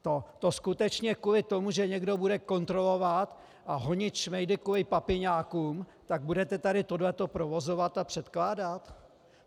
To skutečně kvůli tomu, že někdo bude kontrolovat a honit šmejdy kvůli papiňákům, tak budete tady tohleto provozovat a předkládat?